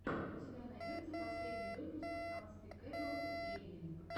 у тебя найдется последний выпуск анспикэбл гейминг